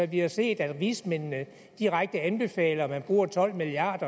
vi har set at vismændene direkte anbefaler at man bruger tolv milliard